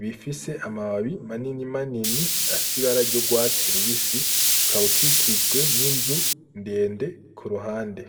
bifise amababi manini manini afsibararyo rwatsirubisi ukawukikijwe n'inzu ndende ku ruhande.